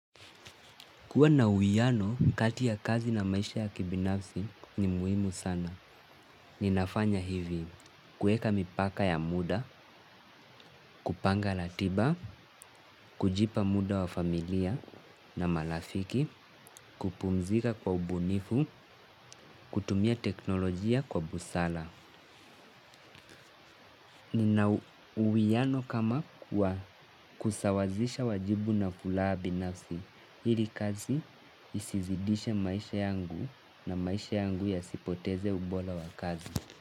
Kuwa na uwiano kati ya kazi na maisha ya kibinafsi ni muhimu sana. Ninafanya hivi, kuweka mipaka ya muda, kupanga ratiba, kujipa muda wa familia na marafiki, kupumzika kwa ubunifu, kutumia tekinolojia kwa busara. Nina uwiano kama wa kusawazisha wajibu na furaha binafsi ili kazi isizidishe maisha yangu na maisha yangu yasipoteze ubora wa kazi.